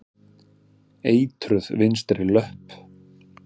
Eitruð vinstri löpp.